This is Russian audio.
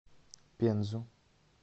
пензу